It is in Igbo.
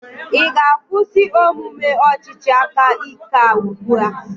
Ị ga-akwụsị omume ọchịchị aka ike a ugbu a?